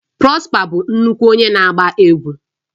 Prosper bụ nnukwu onye na agba egwu